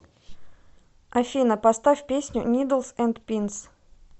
афина поставь песню нидлс энд пинс